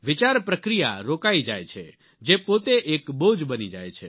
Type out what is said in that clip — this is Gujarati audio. વિચાર પ્રક્રિયા રોકાઈ જાય છે જે પોતે એક બોજ બની જાય છે